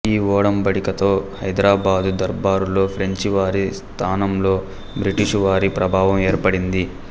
ఈ ఒడంబడికతో హైదరాబాదు దర్బారులో ఫ్రెంచి వారి స్థానంలో బ్రిటిషు వారి ప్రాభవం ఏర్పడింది